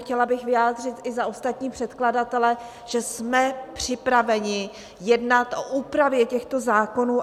Chtěla bych vyjádřit i za ostatní předkladatele, že jsme připraveni jednat o úpravě těchto zákonů.